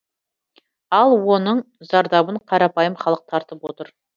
ал оның зардабын қарапайым халық тартып отыр